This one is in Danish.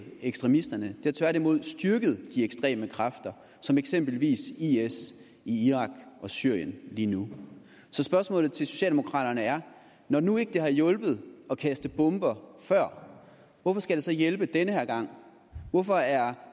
ekstremisterne det har tværtimod styrket de ekstreme kræfter som eksempelvis is i irak og syrien lige nu så spørgsmålet til socialdemokraterne er når det nu ikke har hjulpet at kaste bomber før hvorfor skal det så hjælpe den her gang hvorfor er